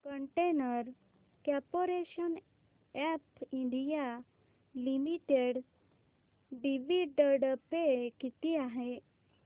container corporation of India limited dividend pay किती आहे